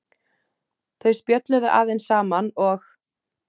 Þau spjölluðu aðeins saman og